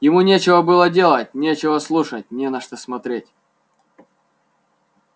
ему нечего было делать нечего слушать не на что смотреть